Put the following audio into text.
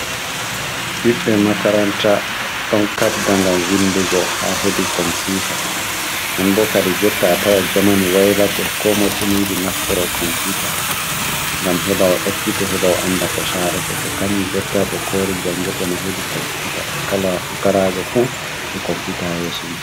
Ɓiɓɓe makaranta ɗon kabda ngam windugo haa hedi komputa non bo kadi jotta a tawa jaman waylake ko moy funi yiɗi nafturo komputa ngam hebawo ekkito hebawo anda ko sarato to kanju jotta be kori jangirde ma hedi komputa kala fukarajo fu be komputa ha yeso mum.